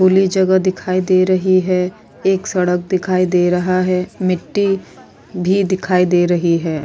खुली जगह दिखाई दे रही है एक सड़क दिखाई दे रहा है मिटटी भी दिखाई दे रही है।